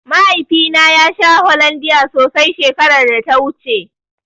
Mahaifina ya sha Hollondia sosai shekaraar da ta wuce.